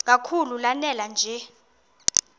kakhulu lanela nje